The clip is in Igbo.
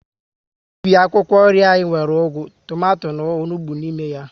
Ubi akwụkwọ nri anyị nwere ugu, tomato na onugbu n'ime ya